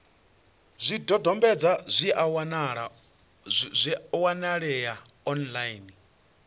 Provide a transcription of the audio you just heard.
zwidodombedzwa zwi a wanalea online